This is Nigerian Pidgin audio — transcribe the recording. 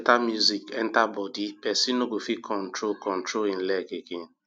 better music enter body pesin no fit control control[um]leg again